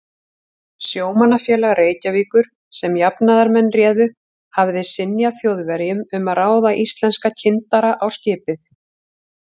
Sjómannafélag Reykjavíkur, sem jafnaðarmenn réðu, hafði synjað Þjóðverjum um að ráða íslenska kyndara á skipið.